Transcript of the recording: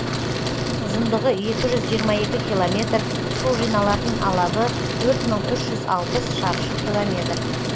ұзындығы екі жүз жиырма екі километр су жиналатын алабы төрт мың үш жүз алпыс шаршы километр